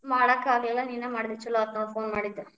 ಮಾಡಾಕ ಆಗ್ಲಿಲ್ಲ ನೀನ ಮಾಡಿದೆ ಚುಲೊ ಆತ ನೋಡ್ phone ಮಾಡಿದ್ದ.